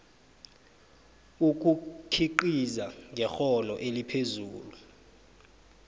ukukhiqiza ngekghono eliphezulu